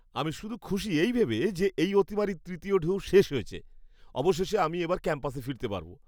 আমি শুধু খুশি এই ভেবে যে এই অতিমারীর তৃতীয় ঢেউ শেষ হয়েছে। অবশেষে আমি এবার ক্যাম্পাসে ফিরতে পারব।